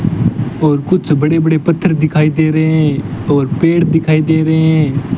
और कुछ बड़े बड़े पत्थर दिखाई दे रहे हैं और पेड़ दिखाई दे रहे हैं।